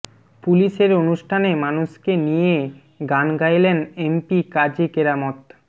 পুলিশের অনুষ্ঠানে মানুষকে নিয়ে গান গাইলেন এমপি কাজী কেরামত